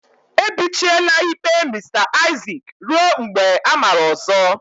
Ebichiela ikpe Mr Isaac ruo mgbe amara ọzọ.